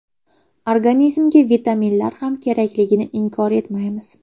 Organizmga vitaminlar ham kerakligini inkor etmaymiz.